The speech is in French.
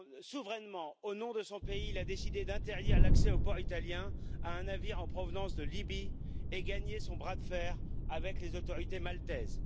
Souverainement, au nom de son pays, il a décidé d'interdire l'accès aux ports italiens à un navire en provenance de Libye et gagné son bras de fer avec les autorités maltaises.